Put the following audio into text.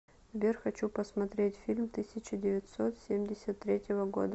сбер хочу посмотреть фильм тысяча девятьсот семьдесят третьего года